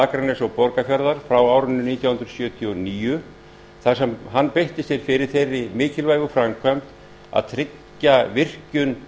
akraness og borgarfjarðar frá nítján hundruð sjötíu og níu þar sem hann beitti sér fyrir þeirri mikilvægu framkvæmd að tryggja virkjun